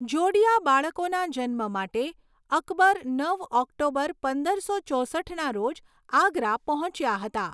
જોડિયા બાળકોના જન્મ માટે અકબર નવ ઓક્ટોબર પંદરસો ચોસઠના રોજ આગ્રા પહોંચ્યા હતા.